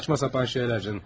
Cəfəng şeylər canım.